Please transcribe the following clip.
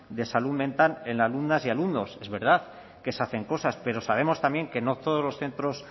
de salud mental en alumnas y alumnos es verdad que se hacen cosas pero sabemos también que no todos los centros